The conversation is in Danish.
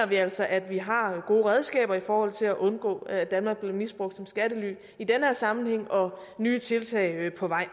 vi altså at vi har gode redskaber i forhold til at undgå at danmark bliver misbrugt som skattely i den her sammenhæng og nye tiltag er på vej